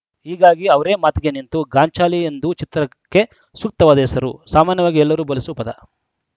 ಹೀಗಾಗಿ ಅವರೇ ಮಾತಿಗೆ ನಿಂತು ಗಾಂಚಲಿ ಎಂದು ಚಿತ್ರಕ್ಕೆ ಸೂಕ್ತವಾದ ಹೆಸರು ಸಾಮಾನ್ಯವಾಗಿ ಎಲ್ಲರು ಬಳಸುವ ಪದ